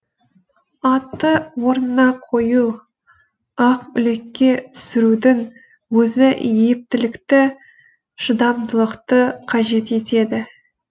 атты орнына қою ақүлікке түсірудің өзі ептілікті шыдамдылықты қажет етеді